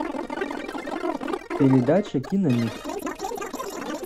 передача киномикс